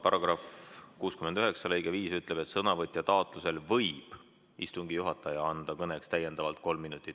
Paragrahvi 69 lõige 5 ütleb, et sõnavõtja taotlusel võib istungi juhataja anda kõneks täiendavalt kolm minutit.